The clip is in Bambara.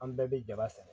An bɛɛ bɛ jaba sɛnɛ